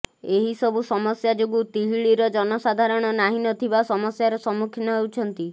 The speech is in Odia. ଏହିସବୁ ସମସ୍ୟା ଯୋଗୁଁ ତିହିଡିର ଜନସାଧାରଣ ନାହିଁ ନଥିବା ସମସ୍ୟାର ସମ୍ମୁଖୀନ ହେଉଛନ୍ତି